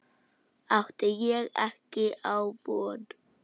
Átti ég ekki á von?